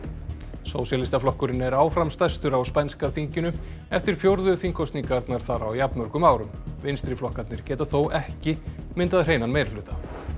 sósíalistaflokkurinn er áfram stærstur á spænska þinginu eftir fjórðu þingkosningarnar þar á jafnmörgum árum vinstriflokkarnir geta þó ekki myndað hreinan meirihluta